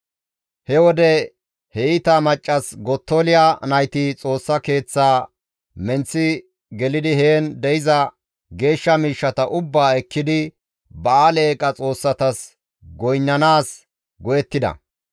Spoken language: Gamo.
He wode he iita maccas Gottoliya nayti Xoossa Keeththaa menththi gelidi heen de7iza geeshsha miishshata ubbaa ekkidi ba7aale eeqa xoossatas goynnanaas go7ettida.